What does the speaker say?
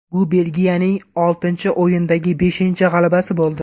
Bu Belgiyaning oltinchi o‘yindagi beshinchi g‘alabasi bo‘ldi.